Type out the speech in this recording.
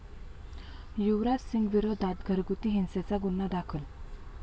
युवराज सिंगविरोधात घरगुती हिंसेचा गुन्हा दाखल